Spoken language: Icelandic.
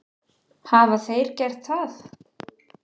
Hafa þeir gert það?